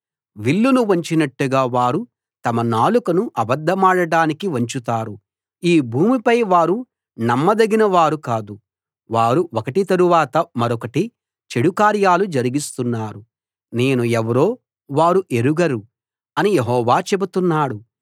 విల్లును వంచినట్టుగా వారు తమ నాలుకను అబద్ధమాడడానికి వంచుతారు ఈ భూమిపై వారు నమ్మదగిన వారు కాదు వారు ఒకటి తరవాత మరొకటి చెడుకార్యాలు జరిగిస్తున్నారు నేను ఎవరో వారు ఎరుగరు అని యెహోవా చెబుతున్నాడు